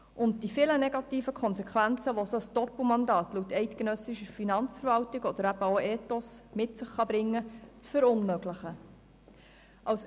Es gilt, die vielen negativen Konsequenzen, die ein solches Doppelmandat laut eidgenössischer Finanzverwaltung oder auch gemäss Stiftung Ethos mit sich bringen kann, zu verunmöglichen.